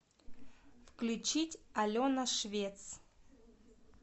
включить алена швец